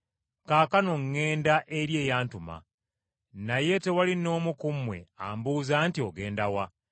Kaakano ŋŋenda eri eyantuma. Naye tewali n’omu ku mmwe ambuuza nti, ‘Ogenda wa?’